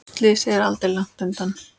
Slysið er aldrei langt undan.